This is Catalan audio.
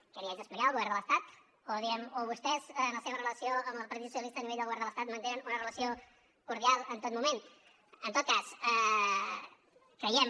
què li haig d’explicar el govern de l’estat o diguem ne vostès en la seva relació amb el partit socialista a nivell del govern de l’estat mantenen una relació cordial en tot moment en tot cas creiem